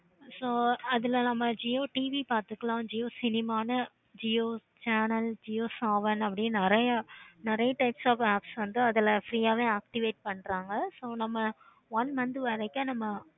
so அதுல நம்ம jio TV பார்த்துக்கலாம். jio cinema பார்த்துக்கலாம். jio channel jio saavn நெறைய types of app வந்து அதுல free யாவே activate பண்றாங்க. நம்ம one month வரைக்கும்